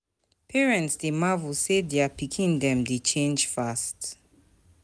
Parents dey marvel sey dier pikin dem dey change fast.